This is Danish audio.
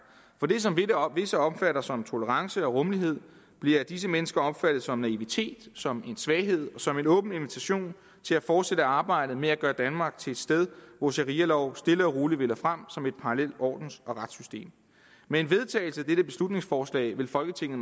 for det som visse opfatter som tolerance og rummelighed bliver af disse mennesker opfattet som naivitet som svaghed og som en åben invitation til at fortsætte arbejdet med at gøre danmark til et sted hvor sharialov stille og roligt vinder frem som et parallelt ordens og retssystem med en vedtagelse af dette beslutningsforslag vil folketinget